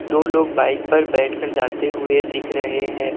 दो लोग बाइक पर बैठकर जाते हुए दिख रहे है।